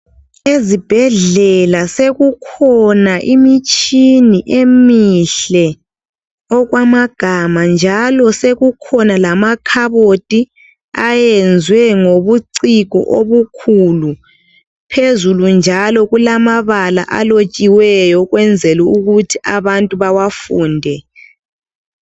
Ezibhedlela sekukhona imitshini emihle okwamagama, njalo sekukhona lamakhabothi ayenziwe ngobuciko obukhulu. Phezulu njalo kulamabala alotshiweyo ukwenzela ukuthi abantu bawafunde.